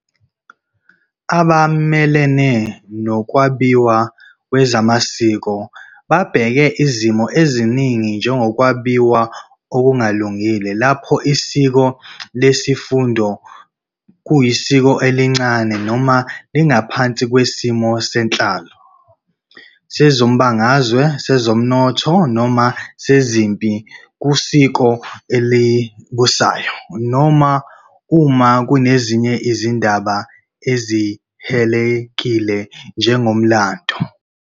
Abamelene nokwabiwa kwezamasiko babheka izimo eziningi njengokwabiwa okungalungile lapho isiko lesifundo kuyisiko elincane noma lingaphansi kwesimo senhlalo, sezombangazwe, sezomnotho, noma sezempi kusiko elibusayo noma uma kunezinye izindaba ezihilelekile, njengomlando.